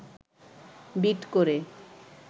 bit করে